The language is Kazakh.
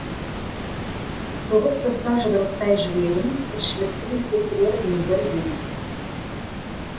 соғып тұрса жұдырықтай жүрегім тіршіліктің келтірермін бір ебін